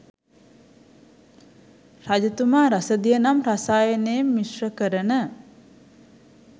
රජතුමා රසදිය නම් රසායනයෙන් මිශ්‍ර කරන